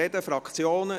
Die Fraktionen?